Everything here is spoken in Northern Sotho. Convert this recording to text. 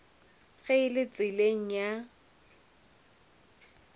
ge e le tseleng ya